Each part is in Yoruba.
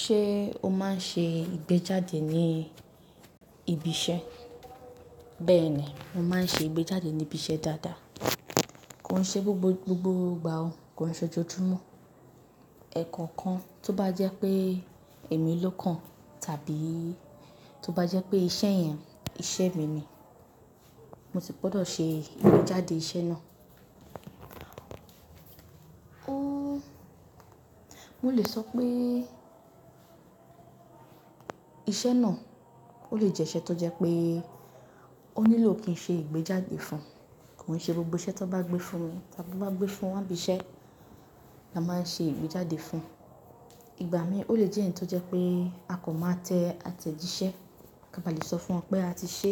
Ṣé o máa ń ṣe ìgbéjáde ní ibi iṣẹ́? Bẹ́ẹ̀ ni, mo máa ń ṣe ìgbéjáde ní ibi iṣẹ́ dáadáa. Kò ń ṣe gbogbo gbogbo ìgbà o. Kò ń ṣe ojojúmọ́. Ẹ̀ẹ̀kan kan, tó bá jẹ́ pé èmi ló kan, tàbí tó bá jẹ́ pé iṣẹ́ yẹn, iṣẹ́ mi ni, mo sì gbọ́dọ̀ ṣe ìgbéjáde iṣẹ́ náà. Mo lè sọ pé iṣẹ́ náà ó lè jẹ́ iṣẹ́ tó jẹ́ pé ó nílò kí n ṣe ìgbéjáde fún un. Kò ń ṣe gbogbo iṣẹ́ tó bá gbé fún mi tàbí tó bá gbé fún wa ni ibi iṣẹ́ la máa ń ṣe ìgbéjáde fún un. Ìgbà míì ó lè jẹ́ ẹ̀yi tó jẹ́ pé a kò máa tẹ àtẹ̀jíṣẹ́ kí a bá lè sọ fún wọn pé a ti ṣe.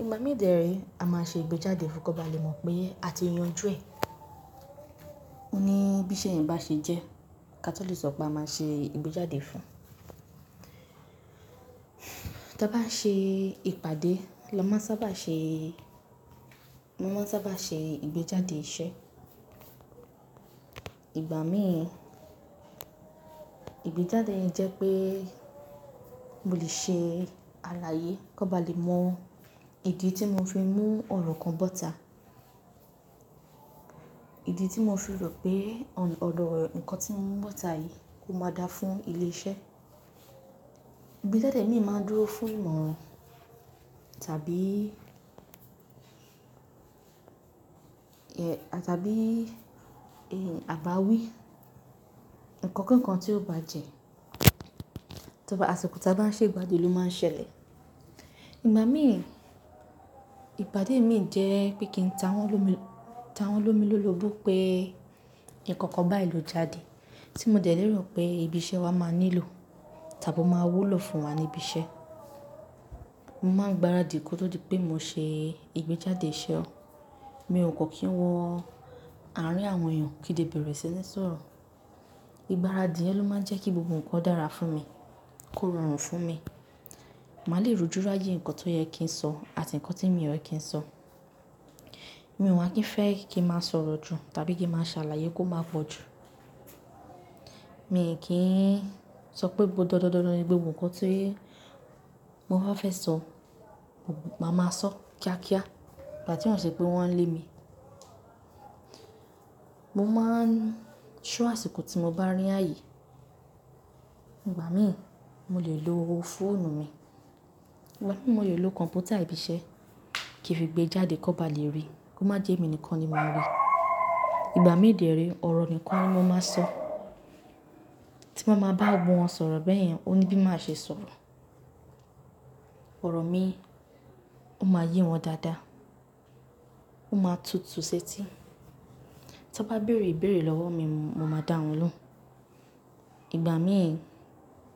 Ìgbà míì dẹ́rẹ́ a máa ṣe ìgbéjáde fún, kí wọ́n bá lè mọ̀ pé a ti yanjú ẹ̀. Ó ní bí iṣẹ́ ẹ́ bá ṣe jẹ́, ka to le sọ pé a máa ṣe ìgbéjáde fún un. Ta bá ṣe ìpàdé, la máa ń sábà ṣe, mọ́ máa ń sábà ṣe ìgbéjáde iṣẹ́. Ìgbà míì, ìgbéjáde yẹn jẹ́ pé mo lè ṣe àlàyé kí wọ́n bá lè mọ ìdí tí mo fi mú ọ̀rọ̀ kan bọ́ta. Ìdí tí mo fi rò pé ọ̀n-- ọ̀dọ̀ nǹkan tí mo mú bọ́ta yìí ó máa dáa fún ilé iṣẹ́. Ìgbéjáde mìí máa ń dúró fún ìmọ̀ràn tàbí, ẹ̀, tàbí, ẹ́, àbáwí. Nǹkan ki kan tí ó bá jẹ, tó bá, àsìkò tí a bá ń ṣe ìpàdé ló máa ń ṣẹlẹ̀. Ìgbà míì, ìpàdé mìí jẹ́ pé kí n ta wọ́n lomi- ta wọ́n lomi lorobó pé nǹkan kan báyì ló jáde tí mo dẹ̀ léèrò pé ibi iṣẹ́ wa máa nílò tàbí ó máa wúlò fún wa ní ibi iṣẹ́. Mo máa ń gbaradì kó tó di pé mo ṣe ìgbéjáde iṣẹ́ o. Mi ò kọ́ kí n wọ àárín àwọn èèyàn kí di bẹ̀rẹ̀ sí ní sọ̀rọ̀. Ìgbáradì yẹn ló máa ń jẹ́ kí gbogbo nǹkan dára fún mi, kó rọrùn fún mi. Màá lè rójú ráyè ǹkan tó yẹ kí n sọ àti ǹkan tí mi ò yẹ kí n sọ. Mi ò wá kí ń fẹ́ kí n máa sọ̀rọ̀ jù tàbí kí n máa ṣàlàyé kó máa pọ̀ jù. Mi kì í sọ pé gbogbo dandan dandan ni gbogbo nǹkan tí mo bá fẹ́ sọ, gbogbo ìgbà máa ma sọ kíákíá. Ìgbà tí wọ́n ṣé pé wọ́n ń lé mi, mo máa ń ṣo àsìkò tí mo bá rí ààyè. Ìgbà míì mo lè lo fóònù mi. Nígbà mi mo lè lo kọ̀m̀pútà ibi iṣẹ́ kí n fi gbéjáde kó bá lè ríi. Kó má jẹ́ èmi nìkan ni mo máa rí. Ìgbà míì dẹ́rẹ́ ọ̀rọ̀ nìkan ni mo máa sọ. Tí m bá ma bá gbogbo wọn sọ̀rọ̀ bẹ́ẹ̀ yẹn, ó ní bí máa ṣe sọ̀rọ̀. Ọ̀rọ̀ mi ó máa yé wọn dáadáa. Ó máa tutù ṣẹ́tí. Tí wọ́n bá béèrè ìbéèrè lọ́wọ́ mi, mo máa dá wọn lóhùn. Ìgbà míì,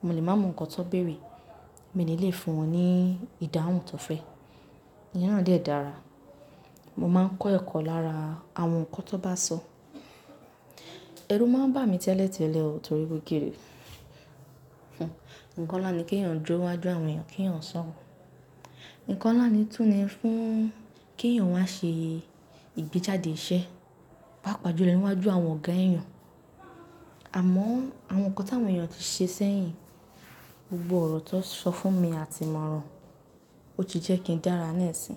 mo lè máa mọ nǹkan tó béèrè, mi ní le fún wọn ní ìdáhùn tó fẹ́. Ìyẹn náà dẹ̀ dára. Mo máa ń kọ ẹ̀kọ́ lára àwọn nǹkan tó bá sọ. Ẹrú máa ń bà mí tẹ́lẹ̀ tẹ́lẹ̀ o torí wípé kìí ni. Ǹnkan lá nii kí èèyàn dúró ní wájú àwọn èèyàn kí èèyàn sọ̀rọ̀. Ǹnkan nlà ní tún ni fún kí èèyàn wá ṣe ìgbéjáde iṣẹ́, pá pàájù lo ni wá ju àwọn ọ̀gá èèyàn. Àmọ́ àwọn nǹkan tí àwọn èèyàn ti ṣe sẹ́yìn, gbogbo ọ̀rọ̀ tó sọ fún mi, a ti mọ̀ran. Ó ti jẹ́ kí n dára nísín.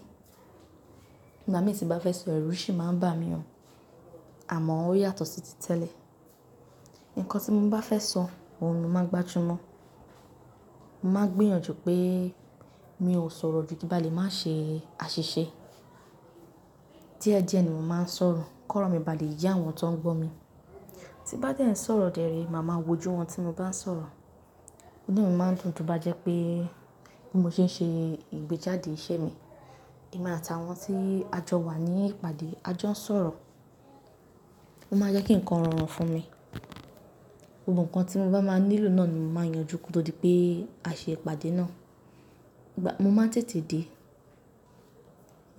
Ìgbà mí tí bá fẹ́ sọ̀rọ̀, ẹrú sì máa ń bà mí o. Àmọ́ ó yàtọ̀ sí ti tẹ́lẹ̀. Ǹkan tí mo bá fẹ́ sọ, òun ni mó máa gbájú mọ́. Mo máa ń gbíyànjú pé mi ò sọ̀rọ̀ jù kí m bà lé má ṣe àṣìṣe. Díẹ̀ díẹ̀ ni mo máa ń sọ̀rọ̀ kí ọ̀rọ̀ mi bá lè yé àwọn tó ń gbọ́ mi. Tí bá dẹ́ sọ̀rọ̀ dẹ́rẹ́, màá ma wojú wọn tí mo bá ń sọ̀rọ̀. Inú mi máa ń dùn tún bá jẹ́ pé bí mo ṣe ń ṣe ìgbéjáde iṣẹ́ mi, èmi àtàwọn tí a jọ wà ní ìpàdé, a jọ ń sọ̀rọ̀. Ó máa ń jẹ́ kí nǹkan rọrùn fún mi. Gbogbo nǹkan tí mo bá máa nílò náà ni mo máa yanjú kó tó di pé a ṣe ìpàdé náà. Mo máa ń tètè dé.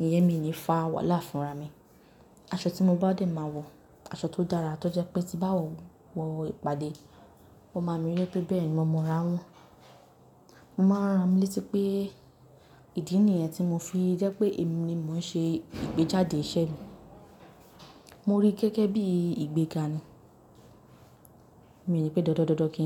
Iyẹ́n mi ni fá wàhálà fúnra mi. Aṣọ tí mo bá dẹ́ máa wọ̀, aṣọ tó dára tó jẹ́ pé tí bá wọ̀, wọ ìpàdé, wọ́n máa mírẹ̀ pé bẹ́ẹ̀ ni mo mọra wọn. Mo máa ran ra mí létí pé ìdí nìyẹn tí mo fi jẹ́ pé èmi ni mo ń ṣe ìgbéjáde iṣẹ́ mi. Mo rí i gẹ́gẹ́ bí ìgbéga ni. Mi ní pé dandan dandan kí í.